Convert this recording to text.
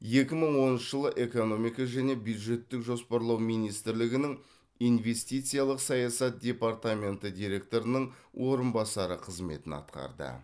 екі мың оныншы жылы экономика және бюджеттік жоспарлау министрлігінің инвестициялық саясат департаменті директорының орынбасары қызметін атқарды